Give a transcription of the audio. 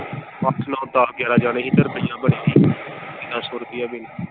ਅੱਠ ਨੋ ਦੱਸ ਗਿਆਰਾਂ ਜਾਣੇ ਸੀ ਤੇ ਰੁਪਇਆ ਬਣਿਆ ਸੀ ਤੇਰਾਂ ਸੋ ਰੁਪਇਆ ਬਿੱਲ।